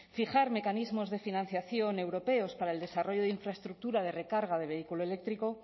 fijar mecanismos de financiación europeos para el desarrollo de infraestructura de recarga de vehículo eléctrico